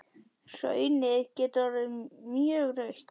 Hraunið getur orðið mjög rautt.